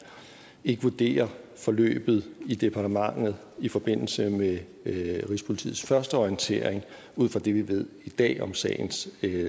ikke vurderer forløbet i departementet i forbindelse med rigspolitiets første orientering ud fra det vi ved i dag om sagens